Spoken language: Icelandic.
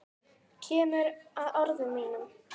Kemur að orðum mínum.